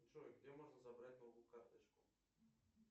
джой где можно забрать новую карточку